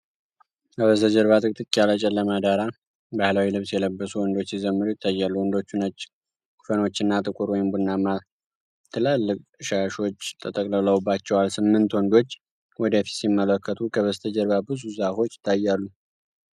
ከበስተጀርባ ጥቅጥቅ ያለ ጨለማ ዳራ፣ ባህላዊ ልብስ የለበሱ ወንዶች ሲዘምሩ ይታያሉ። ወንዶቹ ነጭ ኮፈኖችና ጥቁር ወይም ቡናማ ትላልቅ ሻሾች ተጠቅልለውባቸዋል። ስምንት ወንዶች ወደፊት ሲመለከቱ፣ ከበስተጀርባ ብዙ ዛፎች ይታያሉ።